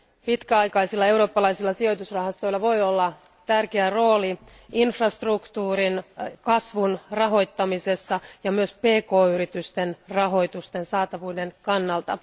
Pitkäaikaisilla eurooppalaisilla sijoitusrahastoilla voi olla tärkeä rooli infrastruktuurin, kasvun rahoittamisessa ja myös pk yritysten rahoitusten saatavuuden kannalta.